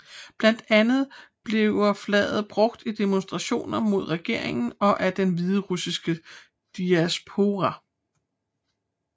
Blandt andet bliver flaget brugt i demonstrationer mod regeringen og af den hviderussiske diaspora